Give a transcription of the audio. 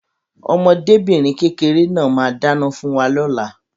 Ọmọdébìnrin kékeré náà máa dáná fún wa lóla.